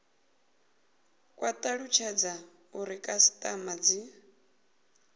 kwa talutshedza uri khasitama dzi